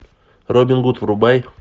робин гуд врубай